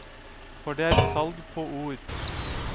For det er salg på ord.